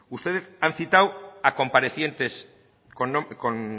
ustedes han citado a comparecientes